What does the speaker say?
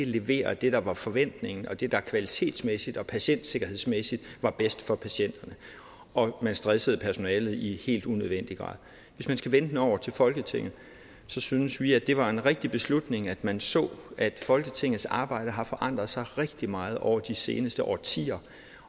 levere det der var forventning om og det der kvalitetsmæssigt og patientsikkerhedsmæssigt var bedst for patienterne og man stressede personalet i helt unødvendig grad hvis man skal vende den over til folketinget så synes vi det var en rigtig beslutning at man så at folketingets arbejde har forandret sig rigtig meget over de seneste årtier